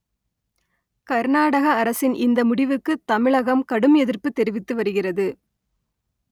கர்நாடக அரசின் இந்த முடிவுக்கு தமிழகம் கடும் எதிர்ப்பு தெரிவித்து வருகிறது